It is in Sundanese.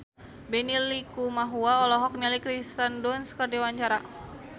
Benny Likumahua olohok ningali Kirsten Dunst keur diwawancara